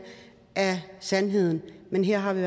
er sandheden her har vi